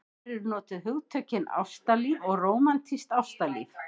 Þar eru notuð hugtökin ástalíf og rómantískt ástalíf.